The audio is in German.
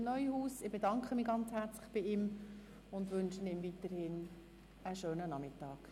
Ich bedanke mich herzlich bei Vizepräsident Neuhaus und wünsche ihm weiterhin einen schönen Nachmittag.